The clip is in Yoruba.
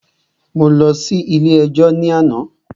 Mo lọ sí ilé ẹjọ́ ní àná.